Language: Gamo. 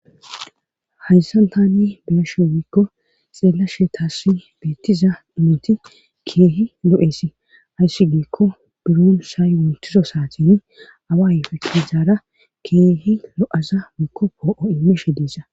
H.ayssan tani biyashe wiikko xeellashe taasi beettiza imoti keehi lo7eesi ayssi giekko buroon saay wonthiso saatin awa ayfe qiizaara keehi lo7aza wiikko poo'o imeshe deesa